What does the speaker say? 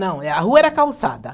Não, é a rua era calçada.